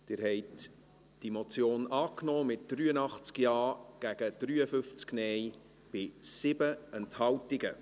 Sie haben diese Motion angenommen mit 83 Ja- gegen 53 Nein-Stimmen bei 7 Enthaltungen.